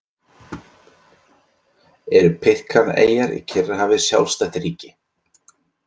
Eru Pitcairn-eyjar í Kyrrahafi sjálfstætt ríki?